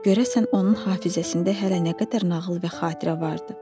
Görəsən, onun hafizəsində hələ nə qədər nağıl və xatirə vardı?